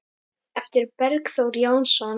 eftir Bergþór Jónsson